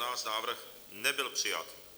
Návrh nebyl přijat.